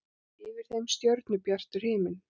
Yfir þeim stjörnubjartur himinn.